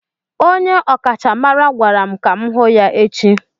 Onye ọkachamara gwara m ka m hụ ya echi